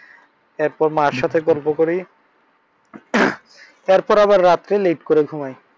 এরপর মার সাথে গল্প করি। এর পর আবার রাত্রে late ঘুমাই।